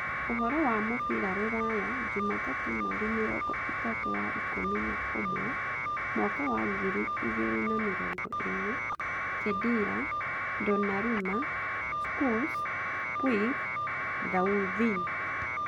Ũhoro wa mũbira rũraya jumatatũ mweri mĩrongo ĩtatũ wa ikũmi na ũmwe mwaka wa ngiri igĩrĩ na mĩrongo ĩĩrĩ: Khedira, Donnarumma, Schuurs, Puig, Thauvin